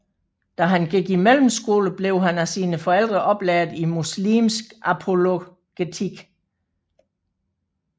Da han gik i mellemskole blev han af sine forældre oplært i muslimsk apologetik